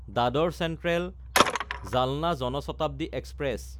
Dadar চেন্ট্ৰেল–জালনা Jan Shatabdi express